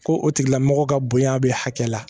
Ko o tigilamɔgɔ ka bonya bɛ hakɛ la